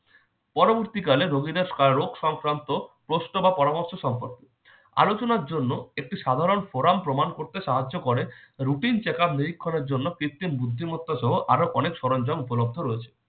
পরবর্তীকালে রোগীদের রোগ সংক্রান্ত প্রশ্ন বা পরামর্শ সম্পর্কে আলোচনার জন্য একটি সাধারণ forum প্রমাণ করতে সাহায্য করে routine checkup নিরীক্ষণের জন্য কৃত্রিম বুদ্ধিমত্তা সহ আরো অনেক সরঞ্জাম উপলব্ধ রয়েছে।